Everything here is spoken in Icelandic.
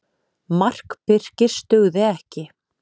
Mark Birkis dugði ekki